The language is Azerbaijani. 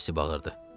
Kasi bağırdı.